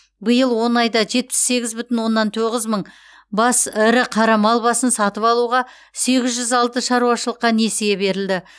биыл он айда жетпіс сегіз бүтін оннан тоғыз мың бас ірі қара мал басын сатып алуға сегіз жүз алты шаруашылыққа несие берілді